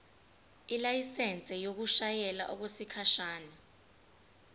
ilayisensi yokushayela okwesikhashana